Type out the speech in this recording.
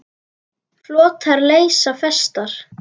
Flotar leysa festar.